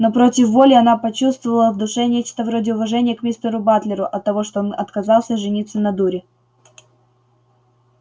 но против воли она почувствовала в душе нечто вроде уважения к мистеру батлеру оттого что он отказался жениться на дуре